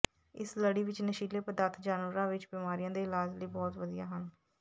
ਇਸ ਲੜੀ ਵਿਚ ਨਸ਼ੀਲੇ ਪਦਾਰਥ ਜਾਨਵਰਾਂ ਵਿਚ ਬਿਮਾਰੀਆਂ ਦੇ ਇਲਾਜ ਲਈ ਬਹੁਤ ਵਧੀਆ ਹਨ